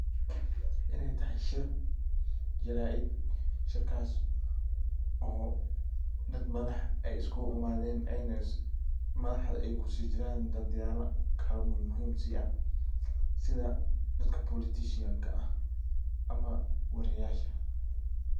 Iney tahay shir jaraid. Shirkas oo dad madax iskugu imaden ,madaxdana ay kujiran dadyala kala mangun si ah ,sidha dadka politicianka ah ama waryayasha.